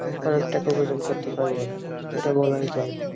অনেক টাকা অর্জন করতে পারবেন এটা বলাই যায়